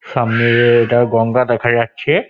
সামনে-এ-এ ওটা গঙ্গা দেখা যাচ্ছে |